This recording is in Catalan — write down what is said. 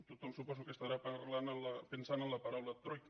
tothom suposo que estarà pensant en la paraula troica